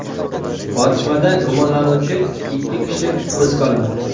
Otishmada gumonlanuvchi ikki kishi hibsga olindi.